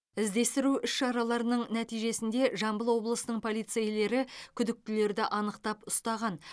іздестіру іс шараларының нәтижесінде жамбыл облысының полицейлері күдіктілерді анықтап ұстаған